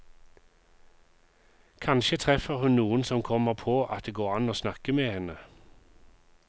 Kanskje treffer hun noen som kommer på at det går an å snakke med henne.